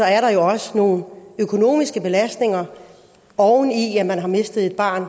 er der jo også nogle økonomiske belastninger oven i at man har mistet et barn